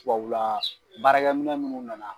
Tubabu la, baarakɛminɛn minnu nana.